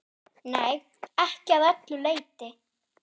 Nei, ekki að öllu leyti.